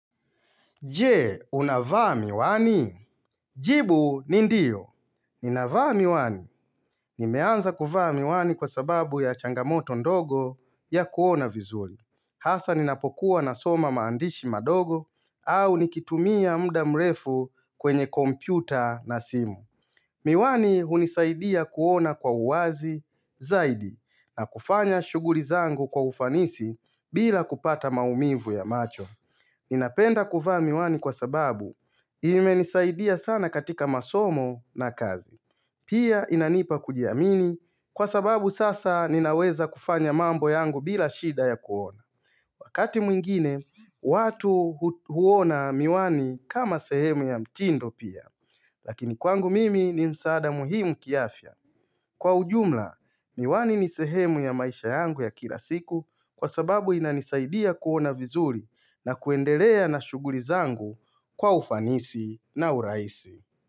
Jee, unavaa miwani? Jibu, ni ndiyo. Ninavaa miwani. Nimeanza kuvaa miwani kwa sababu ya changamoto ndogo ya kuona vizuri. Hasa ninapokuwa nasoma maandishi madogo au nikitumia mda mrefu kwenye kompyuta na simu. Miwani hunisaidia kuona kwa uwazi zaidi na kufanya shughuli zangu kwa ufanisi bila kupata maumivu ya macho. Ninapenda kuvaa miwani kwa sababu imenisaidia sana katika masomo na kazi. Pia inanipa kujiamini kwa sababu sasa ninaweza kufanya mambo yangu bila shida ya kuona. Wakati mwingine, watu huona miwani kama sehemu ya mtindo pia. Lakini kwangu mimi ni msaada muhimu kiafya. Kwa ujumla, niwani ni sehemu ya maisha yangu ya kila siku kwa sababu inanisaidia kuona vizuri na kuendelea na shughuli zangu kwa ufanisi na urahisi.